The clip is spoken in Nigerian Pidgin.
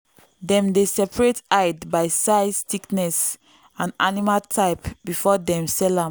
dem dey separate hide by size thickness and animal type before dem sell am.